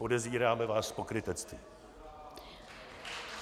Podezíráme vás z pokrytectví.